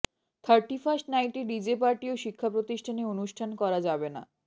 thirty first নাইটে DJ party ও শিক্ষাপ্রতিষ্ঠানে অনুষ্ঠান করা যাবে না